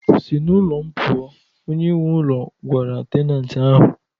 Si n'ulo m pụọ! onye nwe ụlọ gwara tenantii ahụ